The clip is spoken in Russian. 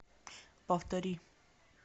повтори